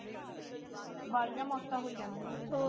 ਬਾਹਲੀਆਂ ਮੌਤਾਂ ਹੋਈਆਂ ਨੇ ਹੋਰ?